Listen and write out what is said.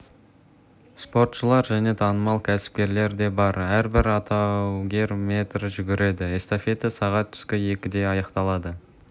спортшылар және танымал кәсіпкерлер де бар әрбір алаугер метр жүгіреді эстафета сағат түскі екіде аяқталады